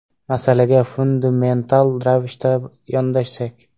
Masalaga fundamental ravishda yondashsak.